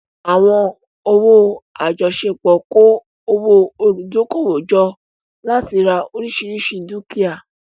Àwọn owó àjọṣepọ̀ kó owó olùdókòwò jọ láti ra oríṣiríṣi dúkìá.